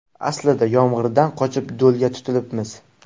Aslida yomg‘irdan qochib, do‘lga tutilibmiz.